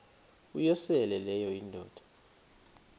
uyosele leyo indoda